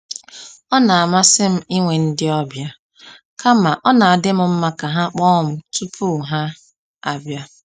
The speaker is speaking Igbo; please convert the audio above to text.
Ọ na amasị m inwe ndị ọbịa, kama ọ na-adịm mma ka ha kpọọ m tupu ha abia